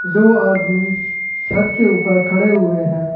दो आदमी छत के ऊपर खड़े हुए हैं।